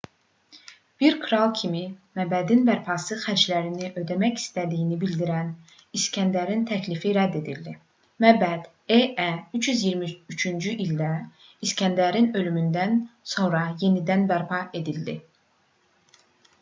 bir kral kimi məbədin bərpası xərclərini ödəmək istədiyini bildiriən i̇skəndərin təklifi rədd edildi. məbəd e.ə. 323-cü ildə i̇skəndərin ölümündən sonra yenidən bərpa edildi